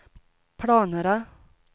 planerna